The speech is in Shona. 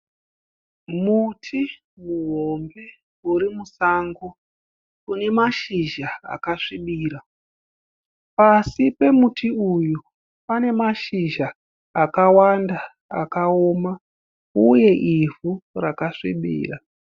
Muti muhombe urimusango unemashizha akasvibirira , pasi pemuti uyu pane mashizha akawanda akawoma uye ivhu rakasvibirira